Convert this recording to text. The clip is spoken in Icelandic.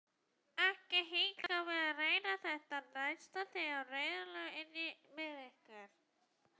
Ekki hika við að reyna þetta næst þegar reiðin ólgar innra með ykkur!